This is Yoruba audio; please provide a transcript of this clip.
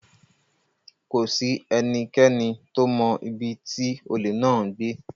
Kò sí ẹnikẹ́ni tó mọ ibi tí olè náà ń gbé.